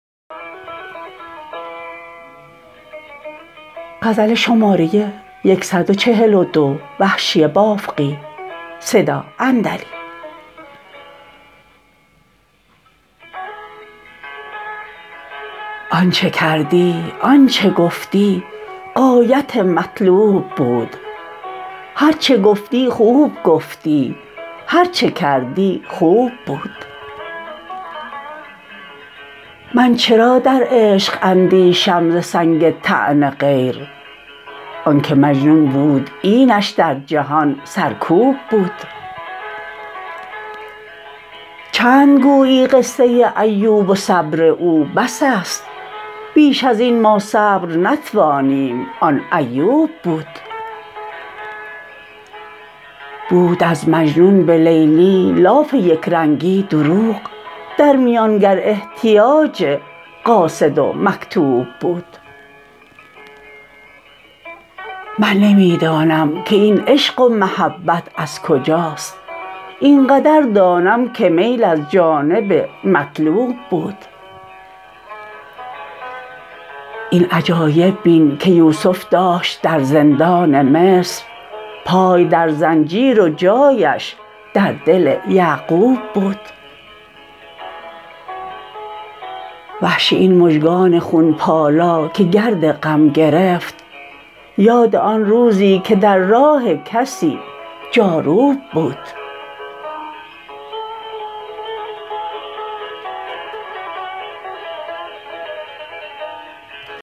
آنچه کردی آنچه گفتی غایت مطلوب بود هر چه گفتی خوب گفتی هر چه کردی خوب بود من چرا در عشق اندیشم ز سنگ طعن غیر آنکه مجنون بود اینش در جهان سرکوب بود چند گویی قصه ایوب و صبر او بس است بیش از این ما صبر نتوانیم آن ایوب بود بود از مجنون به لیلی لاف یکرنگی دروغ در میان گر احتیاج قاصد و مکتوب بود من نمی دانم که این عشق و محبت از کجاست اینقدر دانم که میل از جانب مطلوب بود این عجایب بین که یوسف داشت در زندان مصر پای در زنجیر و جایش در دل یعقوب بود وحشی این مژگان خون پالا که گرد غم گرفت یاد آن روزی که در راه کسی جاروب بود